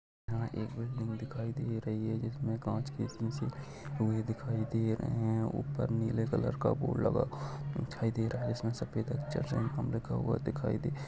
एक बिल्डिंग दिखाई दे रही है जिसमे काँच के शीशे लगे हुए दिखाई दे रहे है ऊपर नीले कलर का बोर्ड लगा हुआ दिखाई दे रहा है। जिसमे सफ़ेद अक्षर में लिखा हुआ दिखाई दे--